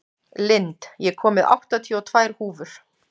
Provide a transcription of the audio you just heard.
Lind, ég kom með áttatíu og tvær húfur!